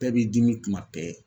Bɛɛ b'i dimi kuma bɛɛ